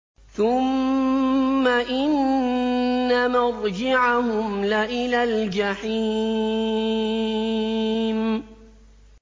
ثُمَّ إِنَّ مَرْجِعَهُمْ لَإِلَى الْجَحِيمِ